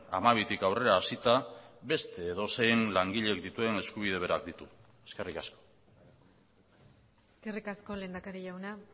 hamabitik aurrera hasita beste edozein langilek dituen eskubide berak ditu eskerrik asko eskerrik asko lehendakari jauna